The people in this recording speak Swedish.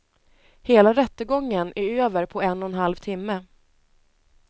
Hela rättegången är över på en och en halv timme.